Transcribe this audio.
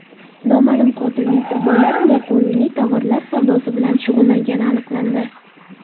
Noma’lum qotilning qurbonlari noqonuniy tovarlar savdosi bilan shug‘ullangani aniqlandi.